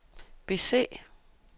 bese